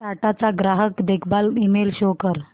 टाटा चा ग्राहक देखभाल ईमेल शो कर